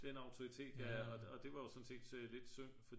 Den autoritet ja og det var jo sådan set lidt synd